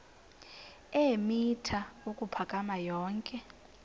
eemitha ukuphakama yonke